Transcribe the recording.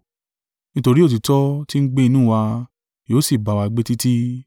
nítorí òtítọ́ tí ń gbé inú wa, yóò sì bá wa gbé títí: